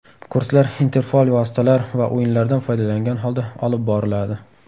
Kurslar interfaol vositalar va o‘yinlardan foydalangan holda olib boriladi.